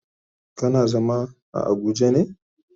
Kana zama a abuja ne?